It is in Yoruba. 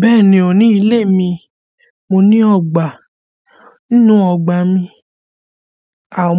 Bẹ́ẹ̀ni ó ní ilé mi, mo ní ọgbà. Nínú ọgbà mi,